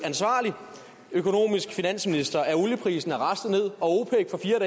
økonomisk ansvarlig finansminister at olieprisen er raslet ned og